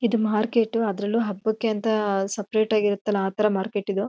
ಇದು ಮಾರ್ಕೆಟ್ ಅದ್ರಲ್ಲೂ ಹಬಕ್ಕೆ ಅಂತ ಸೆಪೆರೇಟ್ ಆಗ್ ಇರತ್ತಲ್ಲ ಆತರ ಮಾರ್ಕೆಟ್ ಇದು.